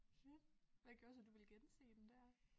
Ja hvad gør så du ville gense den dér?